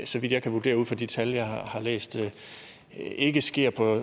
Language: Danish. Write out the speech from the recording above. så vidt jeg kan vurdere ud fra de tal jeg har set ikke sker på